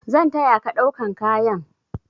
Zan taya ka ɗaukan kayan.